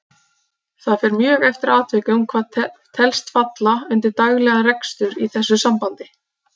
Það fer mjög eftir atvikum hvað telst falla undir daglegan rekstur í þessu sambandi.